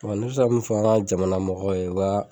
fara jamana mɔgɔw ye ka